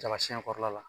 Daga siɲɛkɔrɔla la